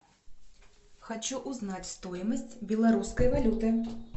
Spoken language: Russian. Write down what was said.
хочу узнать стоимость белорусской валюты